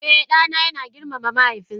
Eh, dana yana girmama mahaifinsa